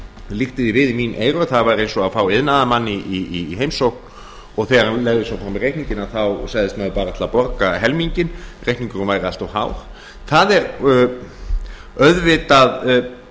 líkti því við í mín eyru að það væri eins og að fá iðnaðarmann í heimsókn og þegar hann legði svo fram reikninginn að þá segðist hann ætla bara að borga helminginn reikningurinn væri allt of hár auðvitað